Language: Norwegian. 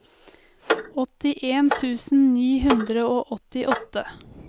åttien tusen ni hundre og åttiåtte